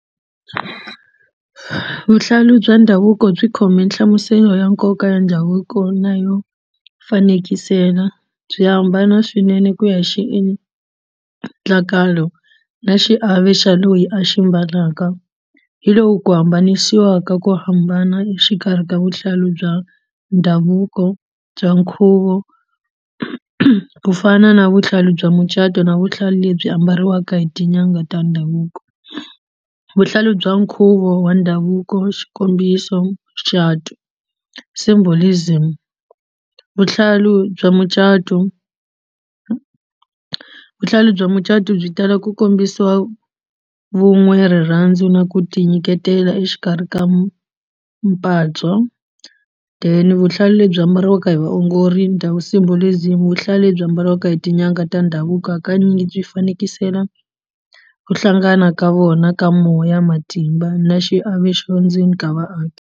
Vuhlalu bya ndhavuko byi khome nhlamuselo ya nkoka ya ndhavuko na yo fanekisela byi hambana swinene ku ya xi endlakalo na xiave xa loyi a xi mbalaka hi lowu ku hambanisiwa ka ku hambana exikarhi ka vuhlalu bya ndhavuko bya nkhuvo ku fana na vuhlalu bya mucato na vuhlalu lebyi ambariwaka hi tin'anga ta ndhavuko vuhlalu bya nkhuvo wa ndhavuko xikombiso mucato symbolism vuhlalu bya mucato vuhlalu bya mucato byi tala ku kombisiwa vun'we rirhandzu na ku tinyiketela exikarhi ka then vuhlalu lebyi ambariwaka hi vaongori symbolism vuhlalu lebyi ambariwaka hi tin'anga ta ndhavuko hakanyingi byi fanekisela ku hlangana ka vona ka moya matimba na xiave xo ndzeni ka vaaki.